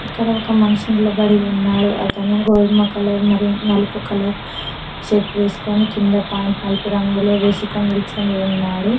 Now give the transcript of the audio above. ఇక్కడ ఒక మనిషి నిలబడి ఉన్నాడు అతను గోధుమ కలర్ మరియు నలుపు కలర్ షర్ట్ వేసుకొని కింద పాయింట్ నలుపు రంగులు వేసుకొని ఉన్నాడు.